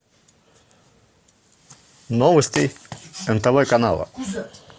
новости нтв канала